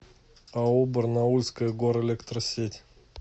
ао барнаульская горэлектросеть